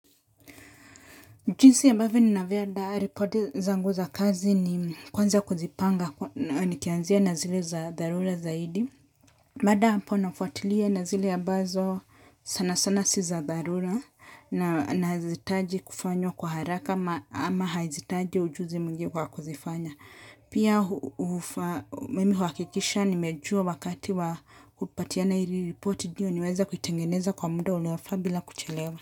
Jinsi ambavyo ninavyoandaa ripoti zangu za kazi ni kwanza kuzipanga nikianzia na zile za dharura zaidi. Baada ya hapo nafuatilia na zile ambazo sana sana si za dharura na hazihitaji kufanywa kwa haraka ama hazihitaji ujuzi mwingi kwa kuzifanya. Pia mimi huhakikisha nimejua wakati wa kupatiana hili ripoti ndiyo niweze kuitengeneza kwa muda unaofaa bila kuchelewa.